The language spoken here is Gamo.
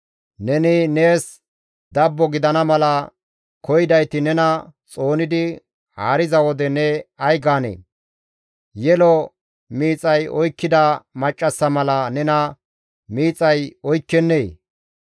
Neni nees dabbo gidana mala koyidayti nena xoonidi haariza wode ne ay gaanee? Yelo miixay oykkida maccassa mala nena miixay oykkennee?